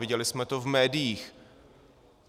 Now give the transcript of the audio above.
Viděli jsme to v médiích.